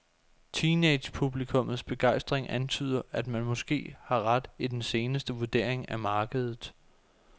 Teenagepublikummets begejstring antyder, at man måske har ret i den seneste vurdering af markedet.